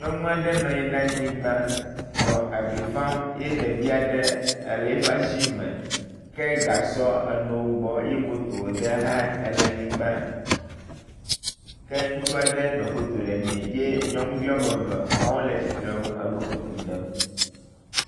Nyɔnu aɖe nɔ anyi ɖe avi fam ye ɖevi aɖe le eƒe asime ke gasɔ enɔ wo gbɔ eye moto aɖe hã ele anyigba ke ŋutsu aɖe nɔ foto ɖemee ye nyɔnuvi wɔme eve wɔ wo le tsitrenu enɔ foto ɖem.